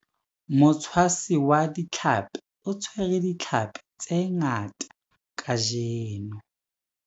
Motshwasi wa ditlhapi o tshwere ditlhapi tse ngata kajeno.